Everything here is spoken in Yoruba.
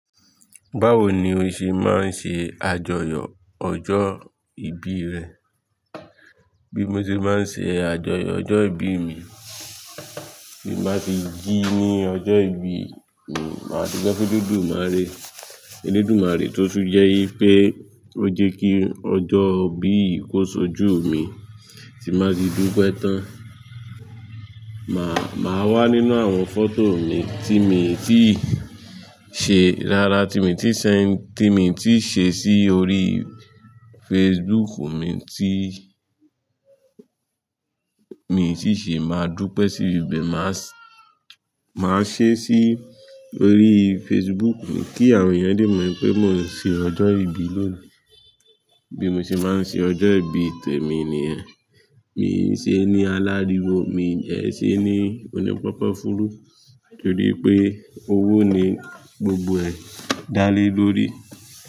Báwo ni o ṣe máa ń ṣe àjọyọ̀ ọjọ́ ìbí rẹ? Bí mo ṣe máa ń ṣe àjọyọ̀ ọjọ́ ìbí mi, tì báa ti jí ní ọjọ́ ìbí mi, máa dupe fún olodúmàré. Eledúmàré tó tún jẹ́ wípé ó jékí ọjọ́ bí ì kó ṣojú mi tì báa ti dúpẹ́ tán. Màá, máa wá nínú àwọn fọ́tò mi tí mi ti ṣe, rárá tí mi ti ṣẹ, tí mi ti ṣe sí orí Facebook mi tí, mi sì ṣè máa dúpẹ́ sí ibẹ̀. Màá, máa ṣe é sí orí Facebook mi kí àwọn èèyàn lè mọ̀ pé mò ń ṣe ọjọ́ ìbí lónìí. Bí mo ṣe máa ń ṣe ọjọ́ ìbí tẹ̀mi nìyẹn. Mii ṣe é ní aláriwo, mi dẹ ṣe é ní onípápafùrú nítorí pé owó ni gbogbo ẹ̀ dálé lórí.